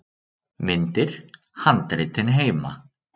Myndir: Handritin heima.